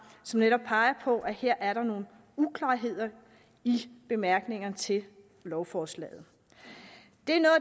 som netop peger på at der her er nogle uklarheder i bemærkningerne til lovforslaget